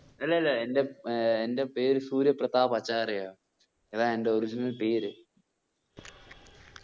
ആഹ്